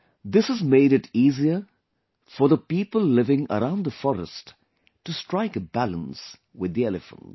This has made it easier for the people living around the forest to strike a balance with the elephants